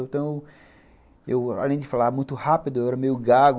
Então, eu, além de falar muito rápido, eu era meio gago.